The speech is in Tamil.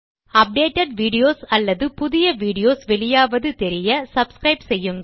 அப்டேட்டட் வீடியோஸ் அல்லது புதிய வீடியோஸ் வெளியாவது தெரிய சப்ஸ்கிரைப் செய்யுங்கள்